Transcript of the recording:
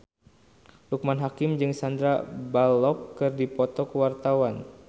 Loekman Hakim jeung Sandar Bullock keur dipoto ku wartawan